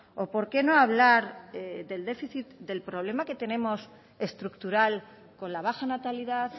o por qué no hablar del déficit del problema que tenemos estructural con la baja natalidad